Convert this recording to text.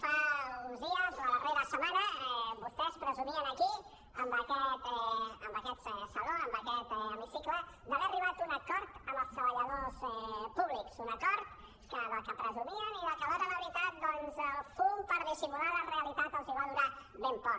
fa uns dies la darrera setmana vostès presumien aquí en aquest saló en aquest hemicicle d’haver arribat a un acord amb els treballadors públics un acord del qual presumien i que a l’hora de la veritat doncs el fum per dissimular la realitat els va durar ben poc